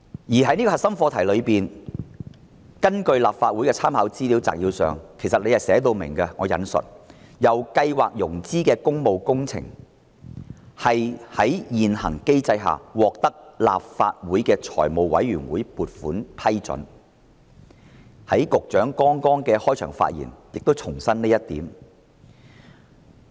而在這方面，立法會參考資料摘要亦已經註明。"由計劃融資的工務工程須在現行機制下獲得立法會財務委員會撥款批准"。局長剛才的開場發言亦重申了這一點。